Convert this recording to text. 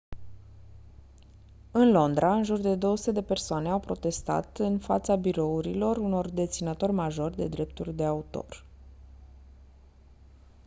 în londra în jur de 200 de persoane au protestat în fața birourilor unor deținători majori de drepturi de autor